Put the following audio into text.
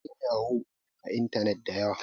akwai yanyahu a intanet da yawa